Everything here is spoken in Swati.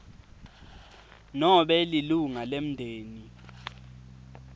nobe lilunga lemndeni